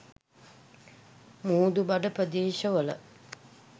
මුහුදුබඩ ප්‍රදේශවල